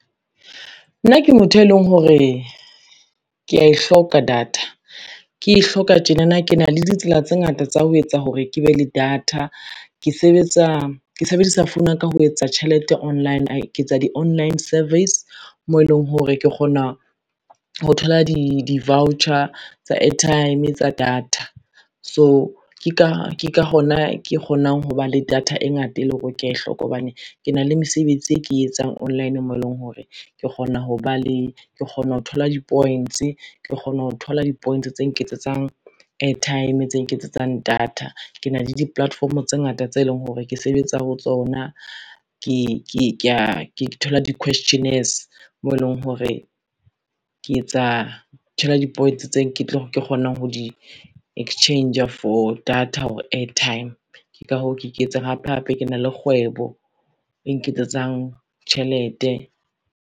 Nna ke motho e leng hore, ke ya e hloka data ke e hloka tjenana, ke na le ditsela tse ngata tsa ho etsa hore ke be le data. Ke sebedisa founu ya ka ho etsa tjhelete online, ke tsa di-online surveys moo eleng hore ke kgona ho thola di-voucher tsa airtime tsa data. So ke ka hona ke kgonang ho ba le data e ngata e le hore o ke hloka hobane ke na le mesebetsi e ke e etsang online moo eleng hore ke kgona ho thola di-points, ke kgona ho thola di-points tse nketsetsang airtime, tse nketsetsang data. Ke na le di-platform tse ngata tse leng hore ke sebetsa ho tsona, ke thola di-questionnaires moo eleng hore ke thola di-points tse ke tlo kgonang ho di-exchange-a for data or airtime, ke ka hoo ke iketseng hape hape ke na le kgwebo e nketsetsang tjhelete.